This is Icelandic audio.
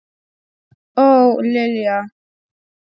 Og Lilja!